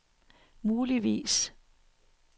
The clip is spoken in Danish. muligvis